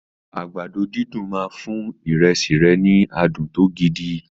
Àgbàdo dídùn máa fún ìrẹsì rẹ ní adùn gidi.